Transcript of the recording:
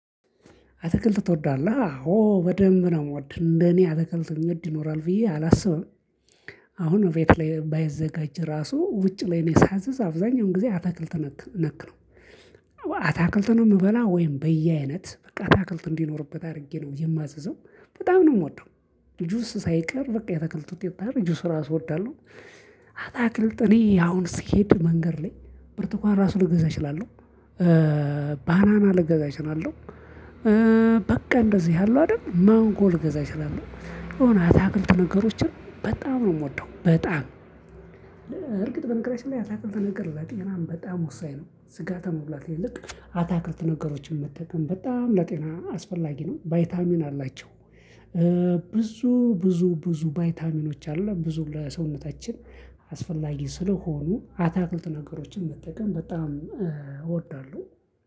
አትክልት ትወዳለህ ኦ በደንብ ነው የምወድ እንደኔ አትክልት የሚወድ ይኖራል ብዬ አላስብም። አሁን ቤት ላይ ባይዘጋጅ ራሱ ውጭ ላይ እኔ ሳዝ አብዛኛውን ጊዜ አትክልት ነክ ነክ ነው። አትክልት ነው የምበላው ወይም በየአይነት በቃ አትክልት እንዲኖርበት አድርጌ ነው የማዘው በጣም ነው የምወደው። ጁስ ሳይቀር በቃ የአትክልት ውጤት ጁስ ራሱ እወዳለሁ። አትክልት እኔ አሁን ስሄድ መንገድ ላይ ብርቱካን ራሱ ልገዛ እችላለሁ። ባናና ልገዛ እችላለሁ። በቃ እንደዚህ ያለው አይደል ማንጎ ልገዛች እችላለሁ የሆነ አትክልት ነገሮችን በጣም ነው የምወደው። በጣም እርግጥ በነገራችን ላይ አትክልት ነገር ለጤናም በጣም ወሳኝ ነው። ስጋ ከመብላት ይልቅ አትክልት ነገሮችን መጠቀም በጣም ለጤና አስፈላጊ ነው ቫይታሚን አላቸው። ብዙ ብዙ ብዙ ቫይታሚኖች አሉ ብዙ ለሰውነታችን አስፈላጊ ስለሆኑ አትክልት ነገሮችን መጠቀም በጣም እወዳለሁ።